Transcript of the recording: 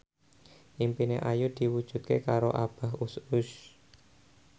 impine Ayu diwujudke karo Abah Us Us